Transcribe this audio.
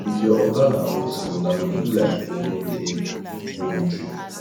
if your oga na old skool una go dey do like pipo wey dey military